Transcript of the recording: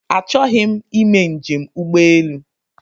Achọghị m ime njem ụgbọelu